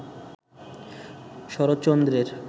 শরৎচন্দ্রের